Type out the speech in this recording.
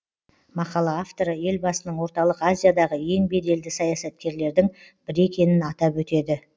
мақала авторы елбасының орталық азиядағы ең беделді саясаткерлердің бірі екенін атап өтеді